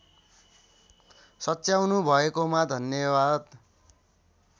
सच्याउनु भएकोमा धन्याबाद